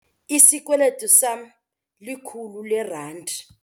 Isikweliti sama likhulu leerandi.